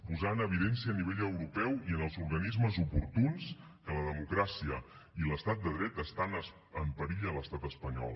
posar en evidència a nivell europeu i en els organismes oportuns que la democràcia i l’estat de dret estan en perill a l’estat espanyol